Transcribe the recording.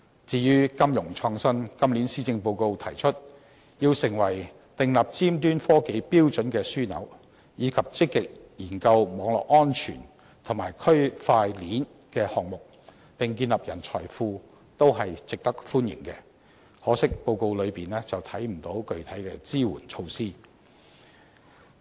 至於金融創新，今年施政報告提出要使香港成為訂立尖端科技標準的樞紐，以及積極研究網絡安全及區塊鏈的項目，並建立人才庫，這些都是值得歡迎的，可惜在報告內卻未見到具體的支援措施。